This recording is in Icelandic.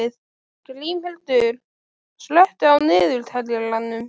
Grímhildur, slökktu á niðurteljaranum.